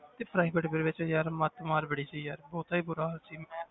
ਤੇ private ਦੇ ਵਿੱਚ ਯਾਰ ਮਤ ਮਾਰ ਬੜੀ ਸੀ ਯਾਰ ਬਹੁਤਾ ਹੀ ਬੁਰਾ ਹਾਲ ਸੀ, ਮੈਂ